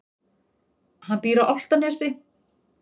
Hann býr á Álftanesi.